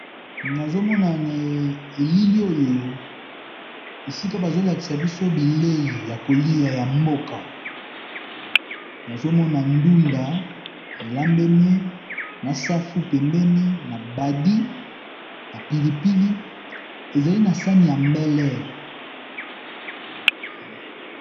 Nazomona na elili oyo esika bazolakisa biso bilei ya koliya ya mboka, nazomona ndunda elambemi na safu pembeni na badi na pilipili ezali na sani ya mbele.